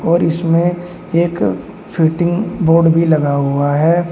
और इसमें एक स्विटिंग बोर्ड भी लगा हुआ है।